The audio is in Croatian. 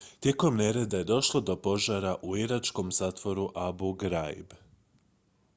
tijekom nereda je došlo do požara u iračkom zatvoru abu ghraib